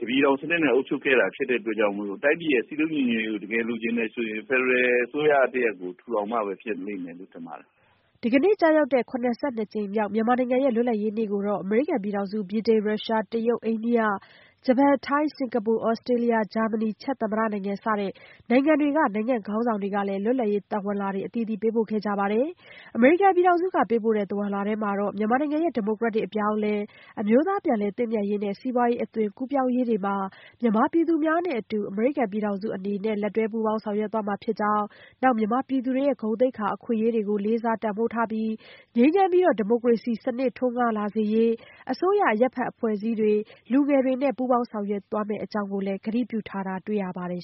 တပြည်ထောင်စနစ်နဲ့ အုပ်ချုပ်ခဲ့တာ ဖြစ်တဲ့အတွက် တိုင်းပြည်ရဲ့ စည်းလုံးညီညွတ်ရေးကို တကယ်လိုချင်တယ်ဆိုရင် ဖက်ဒရယ်အစိုးရတရပ်ကို ထူထောင်မှပဲ ဖြစ်လိမ့်မယ်လို့ ထင်ပါတယ်။” ဒီကနေ့ကျရောက်တဲ့ ၇၂ နှစ်မြောက် မြန်မာနိုင်ငံရဲ့ လွတ်လပ်ရေးနေ့ကို အမေရိကန်ပြည်ထောင်စု၊ ဗြိတိန်၊ ရုရှားနိုင်ငံ၊ တရုတ်နိုင်ငံ၊ အိန္ဒိယနိုင်ငံ၊ ဂျပန်နိုင်ငံ၊ ထိုင်း၊ စင်ကာပူ၊ သြစတြေးလျ၊ ဂျာမနီ၊ ချက်သမ္မတနိုင်ငံ စတဲ့ နိုင်ငံတွေက နိုင်ငံ့ခေါင်းဆောင်တွေကလည်း လွတ်လပ်ရေးသဝဏ်လွှာတွေ ပေးပို့ခဲ့ကြပါတယ်။ အမေရိကန်ပြည်ထောင်စုက ပေးပို့တဲ့ သဝဏ်လွှာမှာတော့ မြန်မာနိုင်ငံရဲ့ ဒီမိုကရက်တစ် အပြောင်းအလဲ၊ အမျိုးသားပြန်လည်သင့်မြတ်ရေးနဲ့ စီးပွားရေး အသွင်ကူးပြောင်းရေးတွေမှာ မြန်မာပြည်သူများနဲ့အတူ အမေရိကန်ပြည်ထောင်စု အနေနဲ့ လက်တွဲပူးပေါင်း ဆောင်ရွက်သွားမှာဖြစ်ကြောင်း၊ မြန်မာပြည်သူတွေရဲ့ ဂုဏ်သိက္ခာ၊ အခွင့်အရေးတွေကို လေးစားတန်ဖိုးထားပြီး ငြိမ်းချမ်းပြီး ဒီမိုကရေစီစနစ် ထွန်းကားလာစေရေး အစိုးရ၊ အရပ်ဘက်အဖွဲ့စည်းတွေ၊ လူငယ်တွေနဲ့ ပူးပေါင်းဆောင်ရွက်သွားမယ့်အကြောင်း ကတိပြုထားတာ တွေ့ရပါတယ်